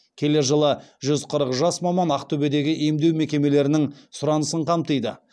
келер жылы жүз қырық жас маман ақтөбедегі емдеу мекемелерінің сұранысын қамтиды